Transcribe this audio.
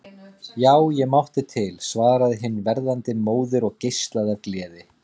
Já, ég mátti til, svaraði hin verðandi móðir og geislaði af gleði.